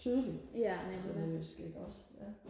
tydeligt sønderjysk iggås ja